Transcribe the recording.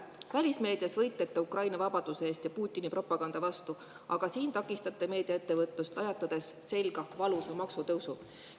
Välismeedias te võitlete Ukraina vabaduse eest ja Putini propaganda vastu, aga siin takistate meediaettevõtlust, lajatades selga valusa maksutõusu.